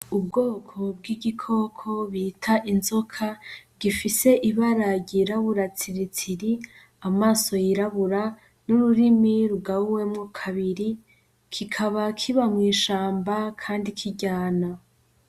Ubwoko bw'igikoko bita inzoka gifise ibara ry'irabura tsiritsiri, amaso yirabura n'ururimi rugabuwemwo kabiri kikaba kiba mwishamba kandi kiryana.